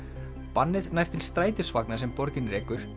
bannið nær til strætisvagna sem borgin rekur